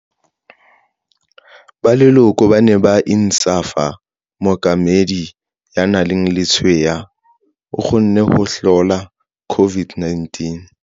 Ba leloko ba ne ba Insaaf mokamedi, ya nang le letshweya, o kgonne ho hlola COVID-19.